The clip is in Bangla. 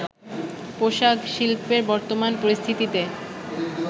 পোশাক শিল্পের বর্তমান পরিস্থিতিতে